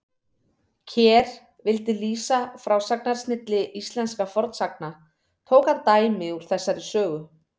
Ker vildi lýsa frásagnarsnilli íslenskra fornsagna, tók hann dæmi úr þessari sögu.